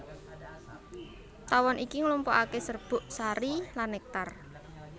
Tawon iki nglumpukaké serbuk sari lan nektar